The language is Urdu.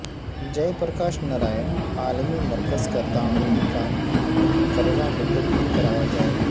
جے پرکاش نرائن عالمی مرکز کاتعمیری کام مقررہ مدت میں کرایا جائے